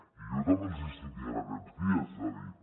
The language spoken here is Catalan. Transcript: i jo també els hi estic dient aquests dies és a dir